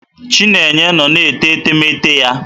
Chinenye nnọ na-ete etemeete ya.